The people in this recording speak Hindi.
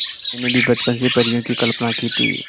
मैंने भी बचपन से परियों की कल्पना की थी